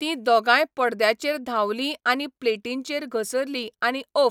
ती दोगाय पडद्याचेर धांवली आनी प्लेटींचेर घसरलीं आनी ओफ्फ!